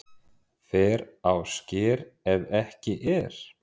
Fer á sker ef ekki er